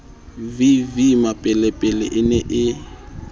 v v mmapelepele e ne